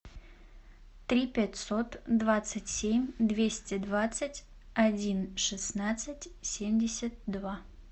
три пятьсот двадцать семь двести двадцать один шестнадцать семьдесят два